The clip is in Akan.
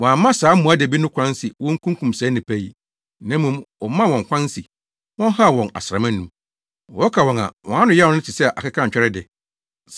Wɔamma saa mmoadabi no kwan se wonkunkum saa nnipa yi. Na mmom, wɔmaa wɔn kwan se wɔnhaw wɔn asram anum. Wɔka wɔn a, wɔn ano yaw no te sɛ akekantwɛre de.